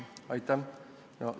Aitäh!